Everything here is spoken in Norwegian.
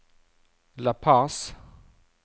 La Paz